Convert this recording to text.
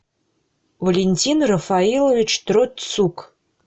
валентин рафаилович троцук